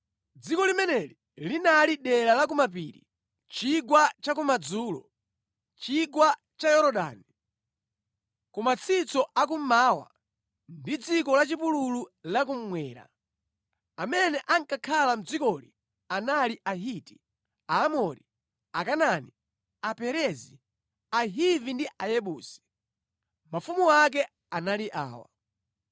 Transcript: Dziko limeneli linali dera la ku mapiri, chigwa cha kumadzulo, chigwa cha Yorodani, ku matsitso a kummawa, ndi dziko la chipululu la kummwera. Amene ankakhala mʼdzikoli anali Ahiti, Aamori, Akanaani, Aperezi, Ahivi ndi Ayebusi. Mafumu ake anali awa: